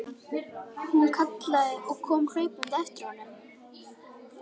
Hún kallaði og kom hlaupandi á eftir honum.